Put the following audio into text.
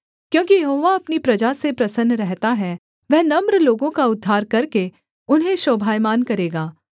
क्योंकि यहोवा अपनी प्रजा से प्रसन्न रहता है वह नम्र लोगों का उद्धार करके उन्हें शोभायमान करेगा